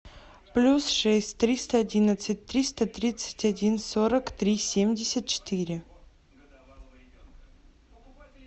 плюс шесть триста одиннадцать триста тридцать один сорок три семьдесят четыре